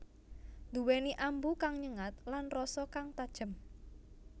Nduwèni ambu kang nyengat lan rasa kang tajem